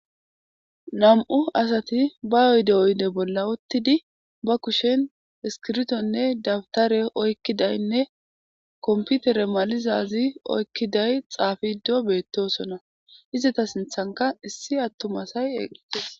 Nam'u asati ba yoyde oyde bolla uttidi ba kushen iskirtonne dabtare oykkidaynne komputere malizazi oykkiday xaafido beettosona izata sinthanka issi attumasay eeqites.